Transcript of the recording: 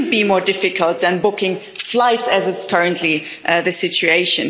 It shouldn't be more difficult than booking flights, as is currently the situation.